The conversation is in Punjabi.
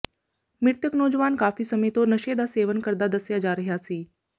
ਮ੍ਰਿਤਕ ਨੌਜਵਾਨ ਕਾਫੀ ਸਮੇਂ ਤੋਂ ਨਸ਼ੇ ਦਾ ਸੇਵਨ ਕਰਦਾ ਦੱਸਿਆ ਜਾ ਰਿਹਾ ਸੀ